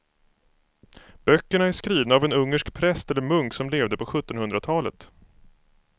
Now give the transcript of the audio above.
Böckerna är skrivna av en ungersk präst eller munk som levde på sjuttonhundratalet.